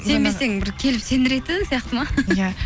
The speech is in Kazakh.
сенбесең бір келіп сендіретін сияқты ма иә